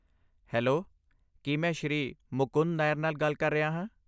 Hello! ਕੀ ਮੈਂ ਸ਼੍ਰੀ ਮੁਕੁੰਦਨ ਨਾਇਰ ਨਾਲ ਗੱਲ ਕਰ ਰਿਹਾ ਹਾਂ?